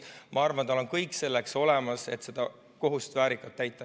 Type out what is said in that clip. Ma arvan, et tal on kõik selleks olemas, et seda kohust väärikalt täita.